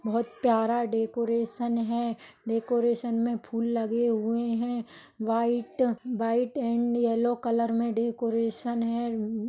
बहुत प्यारा डेकोरेशन है डेकोरेशन मे फूल लगे हुए है white white and yellow colour मे डेकोरेशन है।